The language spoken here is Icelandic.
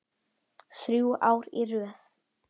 Þrjú ár í röð?